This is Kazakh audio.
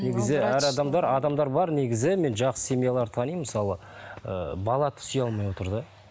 негізі әр адамдар адамдар бар негізі мен жақсы семьяларды танимын мысалы ыыы бала сүйе алмай отыр да